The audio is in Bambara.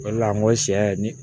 O de la n ko sɛ ni